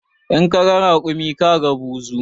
In kaga raƙumi kaga buzu